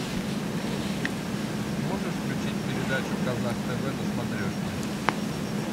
можешь включить передачу казах тв на смотрешке